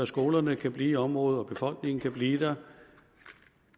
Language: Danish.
skolerne kan blive i området og befolkningen kan blive der